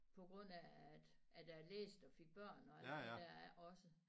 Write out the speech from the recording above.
På grund af at jeg læste og fik børn og alt det der også